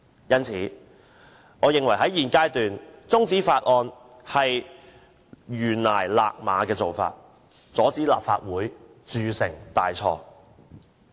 因此，我認為在現階段將《條例草案》中止待續，是臨崖勒馬的做法，亦可以阻止立法會鑄成大錯。